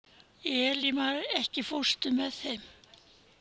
Elímar, ekki fórstu með þeim?